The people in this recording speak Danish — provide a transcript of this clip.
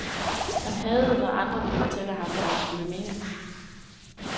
Han hadede, når andre ville fortælle ham, hvad han skulle mene.